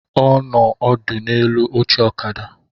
Ọ nọ ọdụ n'elu oche ọkada